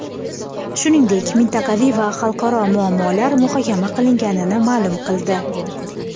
shuningdek mintaqaviy va xalqaro muammolar muhokama qilinganini ma’lum qildi.